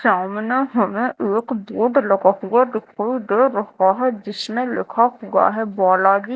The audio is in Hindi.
सामने हमे एक बोर्ड लगा हुआ दिखाई दे रहा है जिसमें लिखा हुआ है बोलागी।